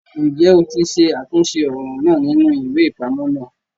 Njẹ o tí ṣàtúnṣe ọran náà nínú iwe-ipamọ náà!